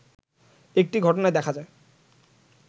একটি ঘটনায় দেখা যায়